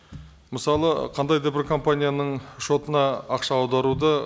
мысалы қандай да бір компанияның шотына ақша аударуды